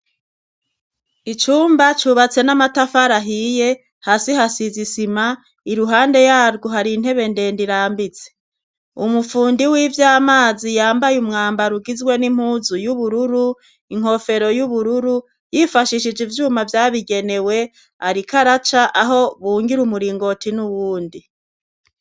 Icumba cubatse n'amatafari ahiye hasi hasize isima iruhande yarwo hari intebe ndende irambitse. Umufundi w'ivyamazi yambaye umwambaro ugizwe n'impuzu y'ubururu, inkofero y'ubururu, yifashishije ivyuma vyabigenewe ariko araca aho bungira umuringoti n'uwundi.